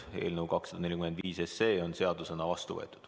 Eelnõu 245 on seadusena vastu võetud.